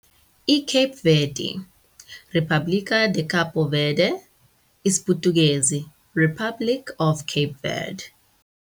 iKhepi Vedhi- "República de Cabo Verde", isiPutukezi, Republic of Cape Verde.